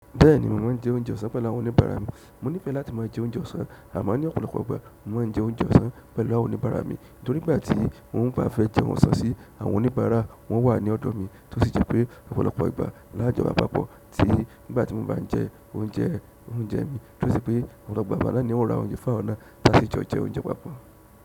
Bẹ́ẹ̀ni, mò ma n jẹ oúnjẹ ọ̀sán pẹ̀lú àwọn oníbàárà mi mo nífẹ̀ẹ́ láti máa jẹ oúnjẹ ọ̀sán, àmọ́, ní ọ̀pọ̀lọpọ̀ ìgbà ma n jẹ oúnjẹ ọ̀sán pẹ̀lú àwọn oníbàárà mi. Nítorí nígbàtí mò n ba fẹ́ jẹ oúnjẹ ọ̀sán sí, àwọn oníbàárà, wọn wà ní ọ̀dọ̀ mi tó sì jẹ pé, ọ̀pọ̀lọpọ̀ ìgbà lájọwa pápọ̀ tí nígbàtí mò n ba n jẹ oúnjẹ oúnjẹ mi, tó sì pé ọ̀pọ̀lọpọ̀ ìgbà nàní hun o ra oúnjẹ fún àwọn náà láti jẹ oúnjẹ ọ̀sán pápọ̀.